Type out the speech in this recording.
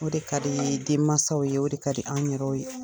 O de kad'i yee denmasaw ye. O de kadi anw yɛrɛw ye.